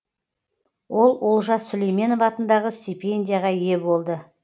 ол олжас сүлейменов атындағы стипендияға ие болды